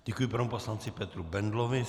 Děkuji panu poslanci Petru Bendlovi.